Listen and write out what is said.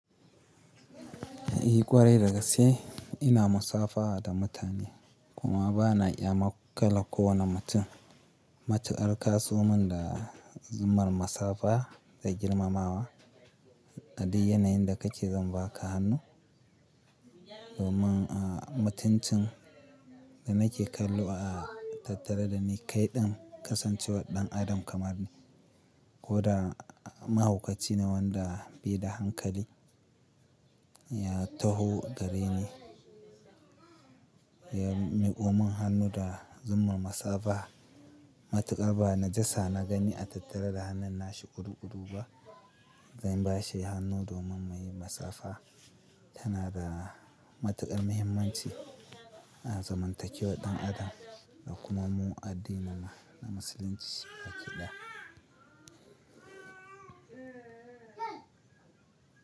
I ƙwarai da gaske, ina musafaha da mutane, kuma ba na iya maƙala ko wane mutum. Matuƙar kaso min da zummar musafaha, da girmamawa. A dai yanayin da kake zan baka hannu, domin a mutuncin, da nake kallo a tattare da ni kai ɗin, kasancewar ɗan Adam kamar ni, koda mahaukaci ne wanda bai da hankali, Ya taho gare ni. Ya miƙomin hannu da zumar masafa. Matuƙar ba najasa na gani a tattare da hannun nashi ƙuru-ƙuru ba, Zan bashi hannu domin muyi masafaha. Tana da matuƙar muhimmanci a zamantakewar ɗan Adam, da kuma mu addinin mu na musulunci baƙi ɗaya.